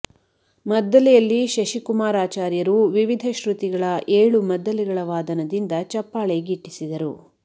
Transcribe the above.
ಮದ್ದಲೆಯಲ್ಲಿ ಶಶಿಕುಮಾರ್ ಆಚಾರ್ಯರು ವಿವಿಧ ಶ್ರುತಿಗಳ ಏಳು ಮದ್ದಲೆಗಳ ವಾದನದಿಂದ ಚಪ್ಪಾಳೆ ಗಿಟ್ಟಿಸಿದರು